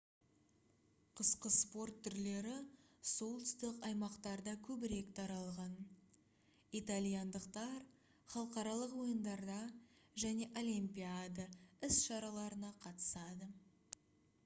қысқы спорт түрлері солтүстік аймақтарда көбірек таралған итальяндықтар халықаралық ойындарда және олимпиада іс-шараларына қатысады